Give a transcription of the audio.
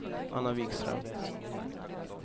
Anna Vikström